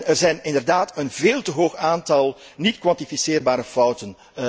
Er is inderdaad een veel te hoog aantal niet kwantificeerbare fouten.